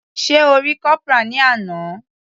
Sé O rí Corporal ní àná.